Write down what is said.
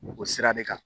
O sira de kan